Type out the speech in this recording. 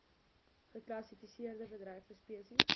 geklassifiseerde bedreigde spesies